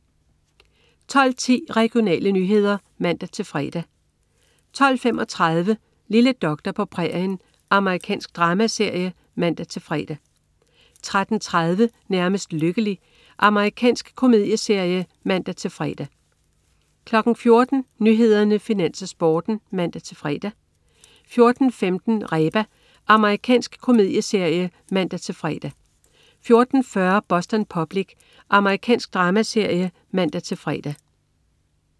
12.10 Regionale nyheder (man-fre) 12.35 Lille doktor på prærien. Amerikansk dramaserie (man-fre) 13.30 Nærmest lykkelig. Amerikansk komedieserie (man-fre) 14.00 Nyhederne, Finans, Sporten (man-fre) 14.15 Reba. Amerikansk komedieserie (man-fre) 14.40 Boston Public. Amerikansk dramaserie (man-fre)